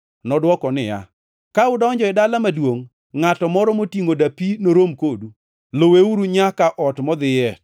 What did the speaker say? Nodwoko niya, “Ka udonjo e dala maduongʼ, ngʼato moro motingʼo dapi norom kodu. Luweuru nyaka ot modhiye,